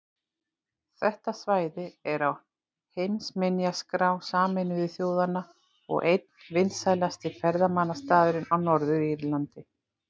Þetta svæði er á heimsminjaskrá Sameinuðu þjóðanna og einn vinsælasti ferðamannastaðurinn á Norður-Írlandi.